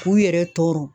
K'u yɛrɛ tɔɔrɔ